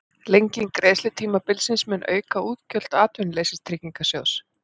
Lenging greiðslutímabilsins mun auka útgjöld Atvinnuleysistryggingasjóðs